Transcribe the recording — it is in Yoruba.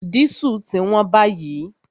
Dísù ti wón báyìí